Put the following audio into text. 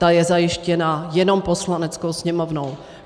Ta je zajištěna jenom Poslaneckou sněmovnou.